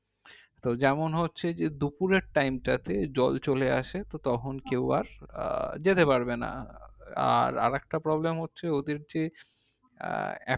তো যেমন হচ্ছে যে দুফুরের time টাতে জল চলে আসে তখন কেও আর আহ যেতে পারবে না আর আরেকটা problem হচ্ছে ওদের যে আহ